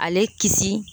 Ale kisi